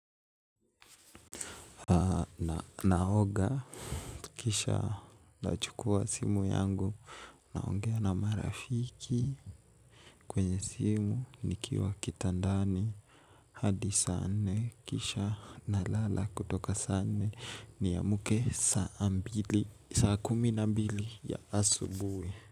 Naoga kisha nachukua simu yangu. Naongea na marafiki kwenye simu nikiwa kitandani. Hadi saa nne kisha nalala kutoka saa nne niamke saa mbili saa kumi na mbili ya asubuhi.